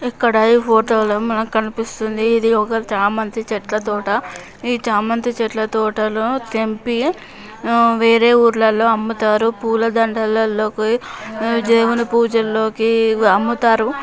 ఇక్కడ ఈ ఫోటో లో మనకి కనిపిస్తుంది ఇది ఒక చామంతి చెట్ల తోట. ఈ చామంతి చెట్ల తోట లో తెంపి వేరే ఊర్లలో అమ్ముతారు.పూలదండలల్లోకి దేవుని పూజల్లోకి ఇవి అమ్ముతారు.